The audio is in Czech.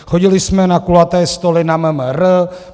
Chodili jsme na kulaté stoly na MMR.